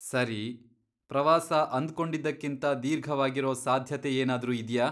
ಸರಿ.., ಪ್ರವಾಸ ಅಂದ್ಕೊಂಡಿದ್ದಕ್ಕಿಂತ ದೀರ್ಘವಾಗಿರೋ ಸಾಧ್ಯತೆ ಏನಾದ್ರೂ ಇದ್ಯಾ?